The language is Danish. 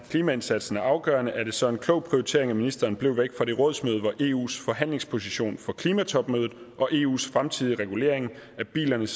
klimaindsatsen er afgørende er det så en klog prioritering at ministeren blev væk fra det rådsmøde hvor eus forhandlingsposition for klimatopmødet og eus fremtidige regulering af bilernes